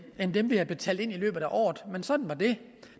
end dem vi havde betalt ind i løbet af året men sådan var det